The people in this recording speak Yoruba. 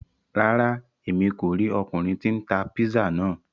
Ràrá, Èmí kó ríi ọkunrin tí n tá pizza náà